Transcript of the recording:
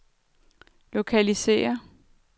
lokalisér